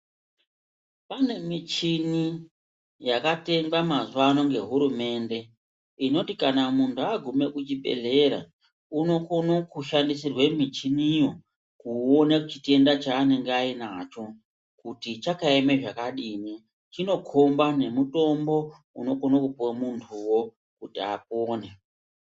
Kune michini yakatengwa mazuwa ano ngehurumende inoti kana muntu aguma kuchibhedhlera unokona kushandisirwa michiniyo kuona chitenda chaanenge anacho kuti chakaema zvakadini chinokomba nemutombo unokona kupuwa kuti muntu apone.